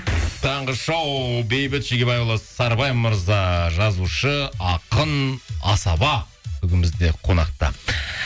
таңғы шоу бейбіт шегебайұлы сарыбай мырза жазушы ақын асаба бүгін бізде қонақта